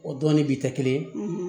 O dɔɔnin bi kɛ kelen ye